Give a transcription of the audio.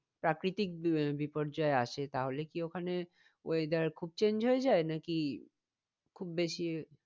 প্রাকৃতিক বিপর্যয় আসে তাহলে কি ওখানে weather খুব change হয়ে যায় নাকি খুব বেশি